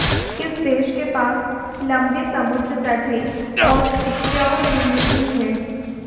इस देश के पास लंबे समुद्र तट हैं और उपजाऊ भूमि भी है